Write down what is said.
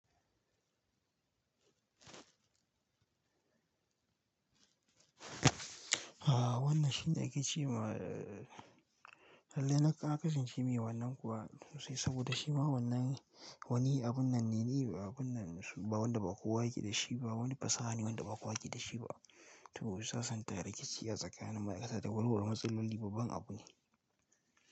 Ah wannan shine ake ce ma, lallai na kasan ce me wannan kuwa sosai saboda shima wannan wani abun nan ne, abun nan wanda ba kowa yake da shi ba, wani fasaha ne wanda ba kowa yake da shi ba. To sasanta rikici a tsakanin ma'aikata da warware matsaloli babban abu ne.